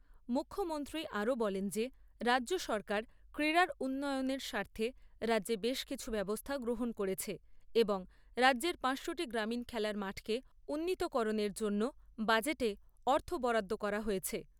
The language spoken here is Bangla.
মুখ্যমন্ত্রী আরও বলেন যে রাজ্য সরকার ক্রীড়ার উন্নয়নের স্বার্থে রাজ্যে বেশ কিছু ব্যবস্থা গ্রহণ করেছে এবং রাজ্যের পাঁচশো টি গ্রামীণ খেলার মাঠের উন্নীতকরণের জন্য বাজেটে অর্থ বরাদ্দ করা হয়েছে।